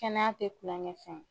Kɛnɛya tɛ kulonkɛ fɛn ye